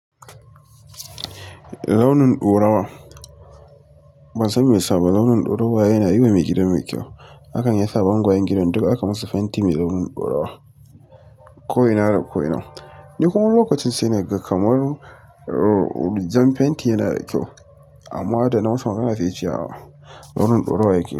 Raunin ɗorawa, ban san me ya sa ba, raunin ɗorawa yana yiwa mai gidan mu kyau. Hakan ya sa bangayen gidan duk aka musu fenti mai launin ɗorawa ko'ina da ko'ina. Ni kuma lokacin sai na ga kamar jan fenti yana da kyau amma da na asu magana ce ya ce raunin ɗorawa yake da kyau.